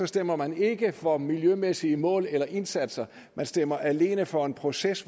stemmer man ikke for miljømæssige mål eller indsatser man stemmer alene for en proces